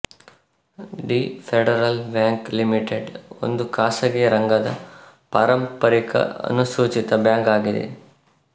the Federal Bank Limited ಒಂದು ಖಾಸಗಿ ರಂಗದ ಪಾರಂಪರಿಕ ಅನುಸೂಚಿತ ಬ್ಯಾಂಕ್ ಆಗಿದೆ